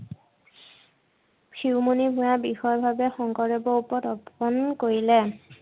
শিৰোমণি ভূঞাৰ বিষয় বাবে শংকৰদেৱৰ ওপৰত অৰ্পণ কৰিলে।